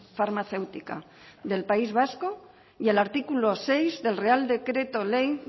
farmacéutica del país vasco y el artículo seis del real decreto ley